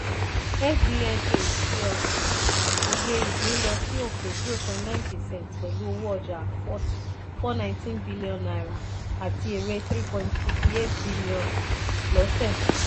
fbnh plc: oyè ìpín lọ sí òkè zero point nine percent pẹ̀lú owó ọjà ₦ four hundred nineteen billion àti èrè ₦ three point five eight billion lósẹ̀.